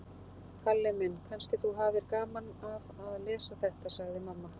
Kalli minn, kannski þú hafir gaman af að lesa þetta, sagði mamma.